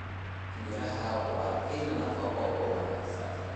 Miraha waa il nafaqo oo wanaagsan.